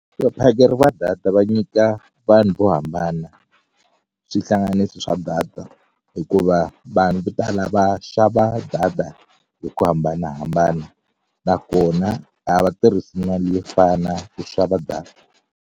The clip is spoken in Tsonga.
Vaphakeri va ta hatla nyika vanhu vo hambana swihlanganisi swa data hikuva vanhu vo tala va xava data hi ku hambanahambana nakona a va tirhisi mali yo fana ku xava data.